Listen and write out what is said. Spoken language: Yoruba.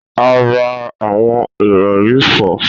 A ra awọn irọri fo.